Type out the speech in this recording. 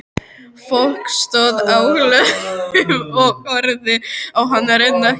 Fólk stóð á hlöðum og horfði á hana renna hjá.